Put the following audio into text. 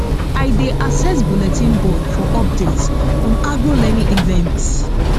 i dey access bulletin board for updates on agro learning events